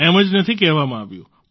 એમ જ નથી કહેવામાં આવ્યું